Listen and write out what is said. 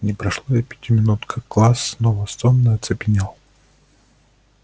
не прошло и пяти минут как класс снова сонно оцепенел